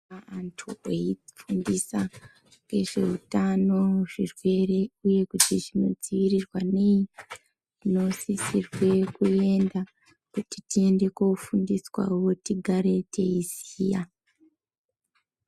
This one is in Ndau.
Antu veifundisa ngezveutano zvirwere uye kuti zvinodziirirwa nei tinosisirwe kuenda kuti tiende kunofundiswawo kuti tigare teiziya.